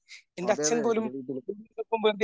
അതെയാതെ എൻ്റെ വീട്ടിലും